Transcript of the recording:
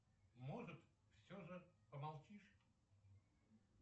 может все же помолчишь